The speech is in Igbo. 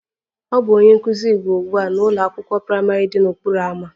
Ọ bụ onye nkụzi Igbo ugbu a n'ụlọ akwụkwọ praịmarị dị n'okporo ámá